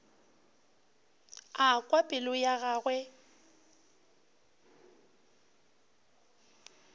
a kwa pelo ya gagwe